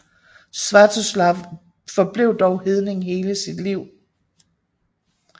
Svjatoslav forblev dog hedning hele sit liv